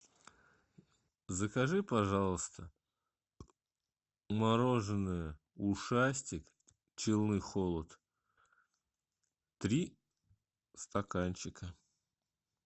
закажи пожалуйста мороженое ушастик челны холод три стаканчика